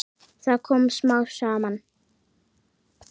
Það kom smám saman.